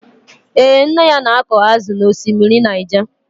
Ee, nna ya na-akụ ázụ̀ n'ọsimiri Naịja.